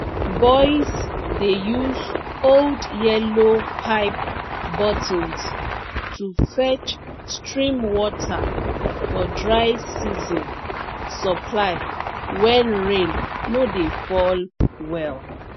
boys dey use old yellow pipe bottles to fetch stream water for dry season supply when rain no dey fall well